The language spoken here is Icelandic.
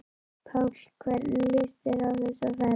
Páll: Hvernig líst þér á þessa ferð?